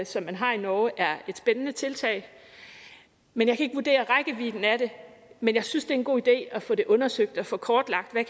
som man har i norge er et spændende tiltag men jeg kan ikke vurdere rækkevidden af det men jeg synes det er en god idé at få det undersøgt og få kortlagt hvad